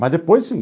Mas depois, sim.